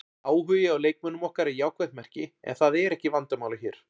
Áhugi á leikmönnum okkar er jákvætt merki en það er ekki vandamálið hér.